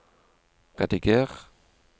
rediger